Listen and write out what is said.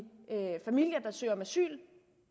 familier der søger om asyl det